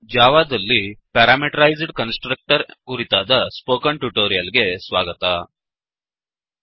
ಜಾವಾದಲ್ಲಿ parameterized constructor parameterized constructor ಕುರಿತಾದ spoken tutorial ಗೆ ಸ್ವಾಗತ